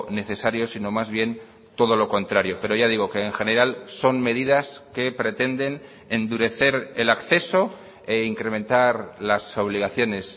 necesario sino más bien todo lo contrario pero ya digo que en general son medidas que pretenden endurecer el acceso e incrementar las obligaciones